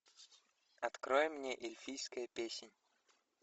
открой мне эльфийская песнь